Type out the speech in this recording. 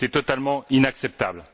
C'est totalement inacceptable.